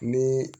Ni